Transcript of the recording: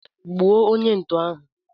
Gbuo onye ntọ ahụ!